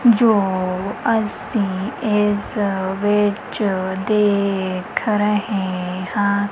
ਜੋ ਅਸੀਂ ਇਸ ਵਿੱਚ ਦੇਖ ਰਹੇ ਹਾਂ।